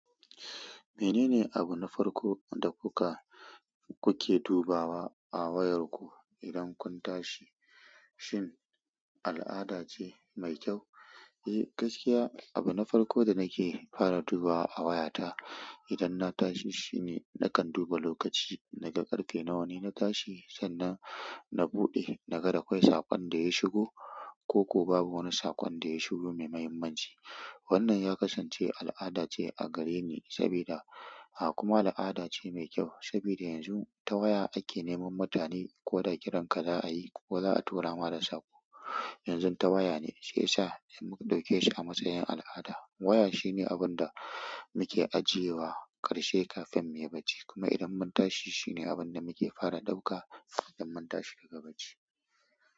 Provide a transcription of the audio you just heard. Menene abu na farko da kuka, kuke dubawa a wayarku idan kun tashi? Shin al'ada ce mai kyau? Eh gaskiya abu na farko da nake fara dubawa a wayata idan na tashi shine nakan duba lokaci, na ga ƙarfe nawa ne na tashi sannan na buɗe na ga da akwai saƙon da ya shigo ko kuko babu wani saƙon da ya shigo mai muhimmanci. Wanan ya kasance alada a gareni sabida kuma aladace me kyau sabida yanxu ta waya ake neman mutane koda kiranka zaayi ko zaa tura ma da sako yanzu ta waya ne shiyasa muka ɗauke shi a matsayin al'ada. Waya shine abin da muke ajiyewa ƙarshe kafin mu yi bacci kuma idan mun tashi shine abin da muke fara ɗauka idan mun tashi daga bacci.